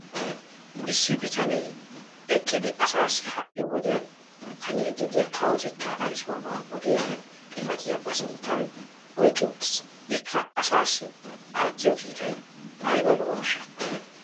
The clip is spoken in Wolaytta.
issi bitanee eqqidi asaassi ha'i woddiyan haniidi diya kawotettaa ayssuwaba oddiyaa xifattiya ba sinttan oyqqi uttiis. ikka asaassi aattiyo kiittay aybba lo'ooshsha.